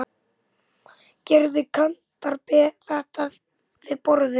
Gerði Kantar þetta við borðið?